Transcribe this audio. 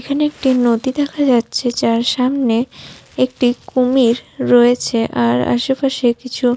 এখানে একটি নদী দেখা যাচ্ছে যার সামনে একটি কুমির রয়েছে আর আশে পাশে কিছু --